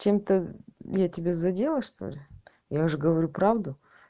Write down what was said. чем-то я тебя задела что ли я же говорю правду